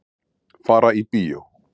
Fara í bíó.